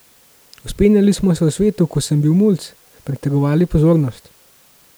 Vzpenjali smo se v svetu, ko sem bil mulc, pritegovali pozornost.